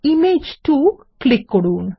image 2 তে click করুন